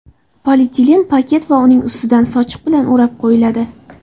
Polietilen paket va uning ustidan sochiq bilan o‘rab qo‘yiladi.